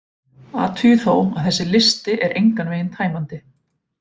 Athugið þó að þessi listi er engan veginn tæmandi: